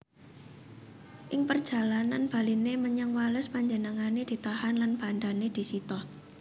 Ing perjalanan baliné menyang Wales panjenengané ditahan lan bandané disita